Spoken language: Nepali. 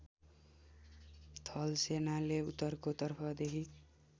थलसेनाले उत्तरको तर्फदेखि